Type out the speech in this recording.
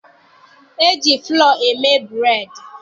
E ji fụlọ eme bụreedị.